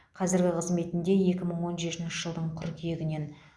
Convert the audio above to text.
қазіргі қызметінде екі мың он жетінші жылдың қыркүйегінен